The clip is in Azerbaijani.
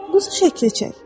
Quzu şəkli çək.